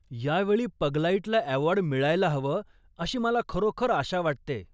यावेळी पगलाईटला अवॉर्ड मिळायला हवं अशी मला खरोखर आशा वाटतेय.